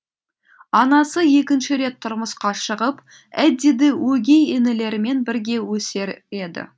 анасы екінші рет тұрмысқа шығып эддиді өгей інілерімен бірге өсіреді